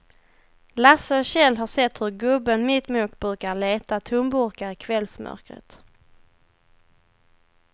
Lasse och Kjell har sett hur gubben mittemot brukar leta tomburkar i kvällsmörkret.